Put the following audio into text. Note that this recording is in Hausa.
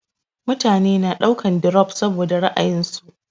Mutane na daukan dirop saboda ra'ayinsu